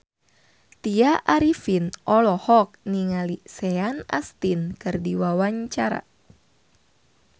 Tya Arifin olohok ningali Sean Astin keur diwawancara